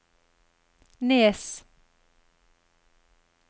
Nes